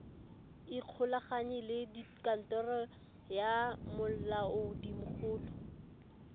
ikgolaganye le kantoro ya molaodimogolo